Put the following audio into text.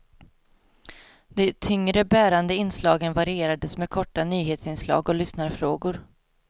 De tyngre, bärande inslagen varierades med korta nyhetsinslag och lyssnarfrågor.